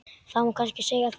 Það má kannski segja það.